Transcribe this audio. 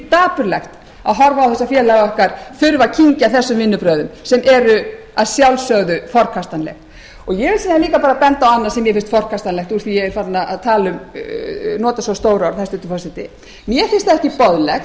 dapurlegt að horfa á þetta félag okkar þurfa að kyngja þessum vinnubrögðum sem eru að sjálfsögðu forkastanleg ég vil líka bara benda á sem mér finnst forkastanlegt úr því að ég er farin að nota svo stór orð hæstvirtur forseti mér finnst ekki boðlegt